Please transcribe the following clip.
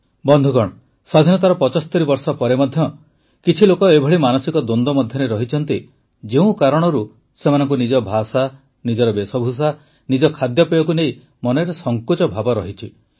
ବନ୍ଧୁଗଣ ସ୍ୱାଧୀନତାର ୭୫ ବର୍ଷ ପରେ ମଧ୍ୟ କିଛି ଲୋକ ଏଭଳି ମାନସିକ ଦ୍ୱନ୍ଦ୍ୱ ମଧ୍ୟରେ ରହିଛନ୍ତି ଯେଉଁ କାରଣରୁ ସେମାନଙ୍କୁ ନିଜ ଭାଷା ନିଜ ବେଶଭୂଷା ନିଜ ଖାଦ୍ୟପେୟକୁ ନେଇ ମନରେ ସଙ୍କୋଚ ଭାବ ରହିଛି